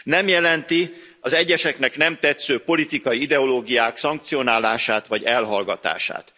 Nem jelenti az egyeseknek nem tetsző politikai ideológiák szankcionálását vagy elhallgatását.